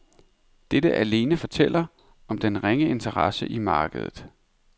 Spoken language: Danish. Dette alene fortæller om den ringe interesse i markedet.